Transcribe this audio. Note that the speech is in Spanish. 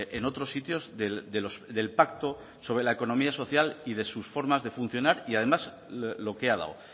en otros sitios del pacto sobre la economía social y de sus formas de funcionar y además lo que ha dado